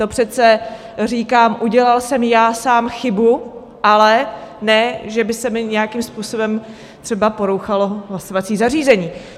To přece říkám "udělal jsem já sám chybu", ale ne že by se mi nějakým způsobem třeba porouchalo hlasovací zařízení.